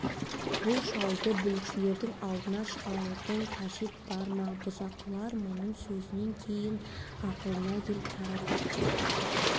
бұл шалды бүлікшілердің алдына шығарудың қажет бар ма бұзақылар мұның сөзінен кейін ақылға келіп тарап кетсе